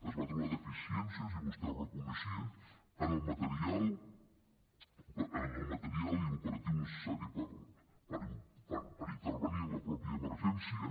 es va trobar deficiències i vostè ho reconeixia en el material i l’operatiu necessari per intervenir en la mateixa emergència